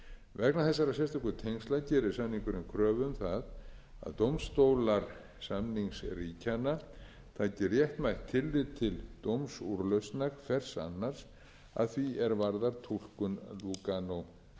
vegna þessara sérstöku tengsla gerir samningurinn kröfu um það að dómstólar samningsríkjanna taki réttmætt tillit til dómsúrlausnar hvers annars að því er varðar túlkun lúganósamningsins